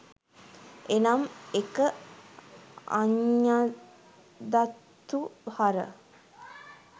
එනම් 1.අඤ්ඤදත්ථු හර